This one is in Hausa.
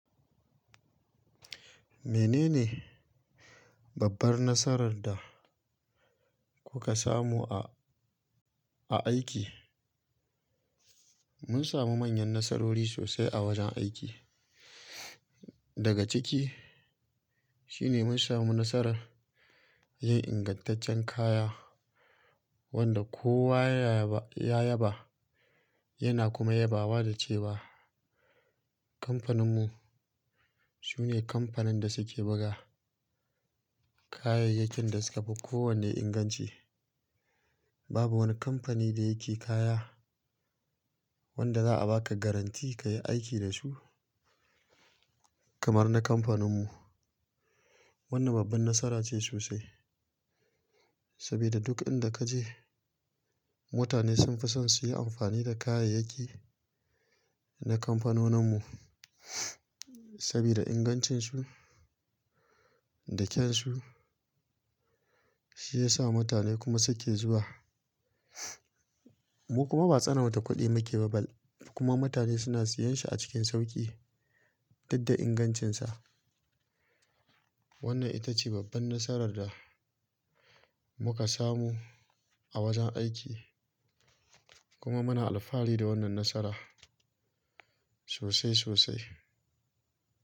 Menene babbar nasarar da kuka samu a, a aiki? Mun samu manyan nasarori sosai a wajen aiki. Daga ciki shine mun samu nasarar yin ingantaccen kaya wanda kowa ya yaba yana kuma yabawa da cewa kamfanin mu sune kamfanin da suke buga kayayyakin da suka fi kowanne inganci. Babu wani kamfani da yake kaya wanda za'a baka garanti kayi aiki da su kamar na kamfanin mu. Wannan babban nasara ce sosai saboda duk inda kaje mutane sun fi son su yi amfani da kayayyaki na kamfanonin mu saboda ingancin su da kyansu shi ya sa mutane kuma suke zuwa. Mu kuma ba tsanar ta kuɗi muke ba bal kuma mutane suna siyan shi a cikin sauƙi tunda ingancinsa. Wannan ita ce babban nasarar da muka samu a wajen aiki kuma muna alfahari da wannan nasara sosai, sosai.